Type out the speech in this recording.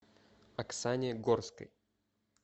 оксане горской